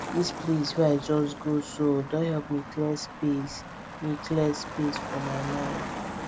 this place wey i just go so don help me clear space me clear space for my mind